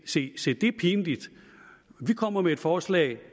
se se dét er pinligt vi kommer med et forslag